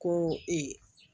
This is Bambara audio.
Ko